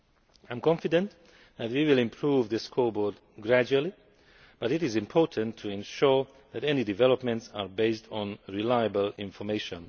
I am confident that we will improve the scoreboard gradually, but it is important to ensure that any developments are based on reliable information.